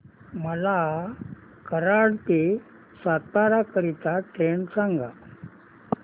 मला कराड ते सातारा करीता ट्रेन सांगा